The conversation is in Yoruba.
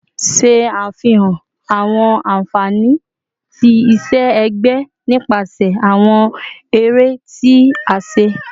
Ṣe afihan awọn anfani ti iṣẹ-ẹgbẹ nipasẹ awọn ere ti a ṣe